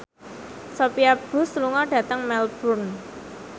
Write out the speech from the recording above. Sophia Bush lunga dhateng Melbourne